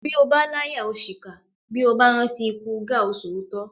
Bí ó bá láyà ó ṣìkà bí ó bá rántí ikú gáà o sòótọ́